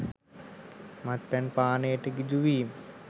මත්පැන් පානයට ගිජු වීම